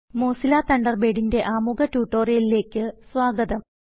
Mozilla തണ്ടർബേഡിന്റെ ആമുഖ ട്യൂട്ടോറിയലിലേക്ക് സ്വാഗതം